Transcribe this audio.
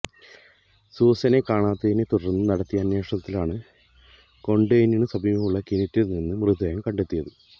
സൂസനെ കാണാതായതിനെ തുടര്ന്ന് നടത്തിയ അന്വേഷണത്തിലാണ് കോണ്വെന്റിന് സമീപമുള്ള കിണറ്റില് നിന്ന് മൃതദേഹം കണ്ടെത്തിയത്